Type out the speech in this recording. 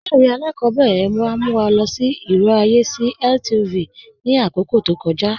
Ilẹ̀-ìwé alákọ̀bẹ̀rẹ̀ wa mú wa lọ sí irò ayé sí LTV ni akókò tó kọ̀ja.